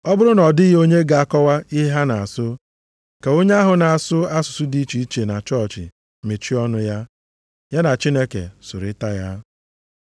Ọ bụrụ na ọ dịghị onye ga-akọwa ihe ha na-asụ, ka onye ahụ na-asụ asụsụ dị iche na chọọchị mechie ọnụ ya. Ya na Chineke sụrịta ya.